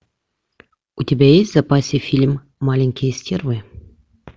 у тебя есть в запасе фильм маленькие стервы